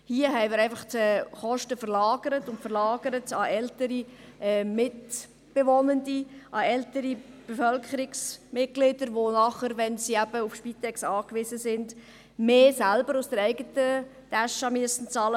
Hier haben wir einfach die Kosten verlagert hin zu älteren Mitgliedern der Bevölkerung, die eben, wenn sie auf Spitex angewiesen sind, mehr aus der eigenen Tasche zahlen müssten.